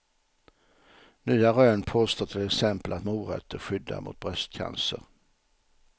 Nya rön påstår till exempel att morötter skyddar mot bröstcancer.